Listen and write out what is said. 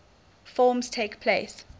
forms takes place